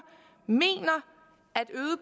mener